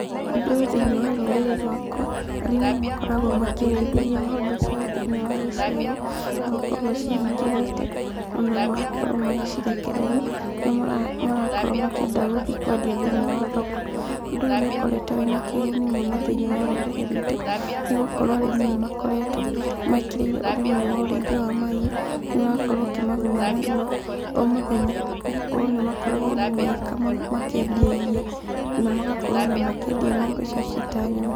Ũndũ ũyũ thĩiniĩ wa rũrĩrĩ rũakwa, arĩmi makoragwo makĩrĩithĩria ng'ombe ciao thĩiniĩ wa gĩcegũ, magakorwo macihingĩrĩte ona magakorwo magĩcirekereria rĩrĩa marakorwo makĩenda gũgĩthiĩ gũciendia thĩiniĩ wa thoki. Ũndũ ũyũ nĩ ũkoretwo wĩna kĩguni mũno thĩiniĩ wa rũrĩrĩ ruitũ nĩ gũkorwo arĩmi nĩ makoretwo mekĩrĩire ũrĩmi wa ũrĩithia wa mahiũ, ũgakorwo ũkĩmaguna mũno o mũthenya nĩ gũkorwo nĩmakoragwo ona magĩkama makĩendia iria ona magakorwo makĩendia ng'ombe icio ciĩta nyama.